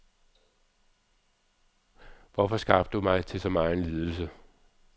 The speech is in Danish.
Hvorfor skabte du mig til så megen lidelse?